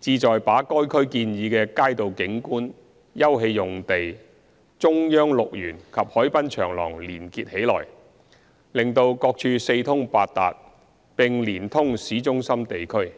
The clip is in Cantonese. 旨在把該區建議的街道景觀、休憩用地、"中央綠園"及海濱長廊連結起來，使各處四通八達，並連通市中心地區。